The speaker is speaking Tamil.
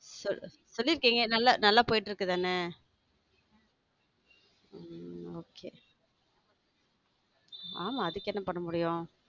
சொல்லி இருக்கீங்க நல்லா போயிட்டு இருக்கு தானே okay ஆமா அதுக்கு என்ன பண்ண முடியும்.